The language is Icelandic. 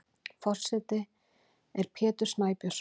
Forseti er Pétur Snæbjörnsson.